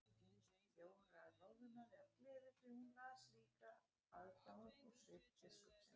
Jóra roðnaði af gleði því hún las líka aðdáun úr svip biskupsins.